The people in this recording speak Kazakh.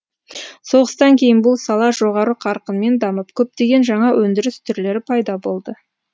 соғыстан кейін бұл сала жоғары қарқынмен дамып көптеген жаңа өндіріс түрлері пайда болды